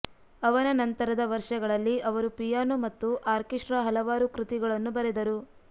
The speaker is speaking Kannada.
ಅವನ ನಂತರದ ವರ್ಷಗಳಲ್ಲಿ ಅವರು ಪಿಯಾನೋ ಮತ್ತು ಆರ್ಕೆಸ್ಟ್ರಾ ಹಲವಾರು ಕೃತಿಗಳನ್ನು ಬರೆದರು